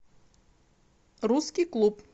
русский клуб